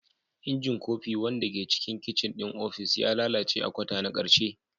Injin kofi, wanda ke cikin kicin ɗin ofis, ya lalace a kwata na ƙarshe.